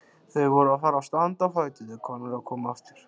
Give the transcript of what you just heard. Þau voru að fara að standa á fætur þegar Konráð kom aftur.